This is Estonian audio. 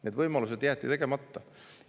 Need võimalused jäeti.